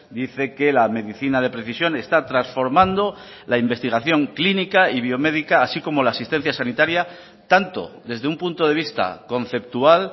dice que la medicina de precisión está transformando la investigación clínica y biomédica así como la asistencia sanitaria tanto desde un punto de vista conceptual